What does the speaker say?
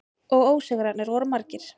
Og ósigrarnir voru margir.